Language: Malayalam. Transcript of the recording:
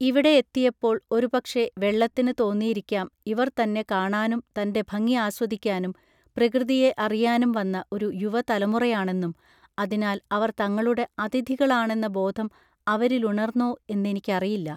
ഇവിടെ എത്തിയപ്പോൾ ഒരു പക്ഷേ വെള്ളത്തിന് തോന്നിയിരിക്കാം ഇവർ തന്നെ കാണാനും തന്റെ ഭംഗി ആസ്വദിക്കാനും പ്രകൃതിയെ അറിയാനും വന്ന ഒരു യുവതലമുറയാണെന്നും അതിനാൽ അവർ തങ്ങളുടെ അതിഥികളാണെന്ന ബോധം അവരിലുണർന്നോ എന്നെനിക്കറിയില്ല